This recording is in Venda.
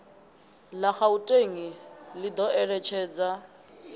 la gauteng i do eletshedza